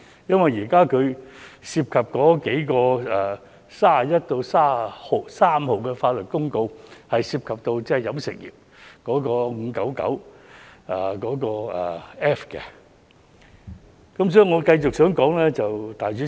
因為現時所討論的第31號至33號法律公告，是涉及到飲食業界的第 599F 章的。